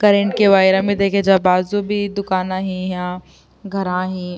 Current کے ویرا مے دیکھ جا باجو بھی دکانا ہے یہاں گھرا ہے۔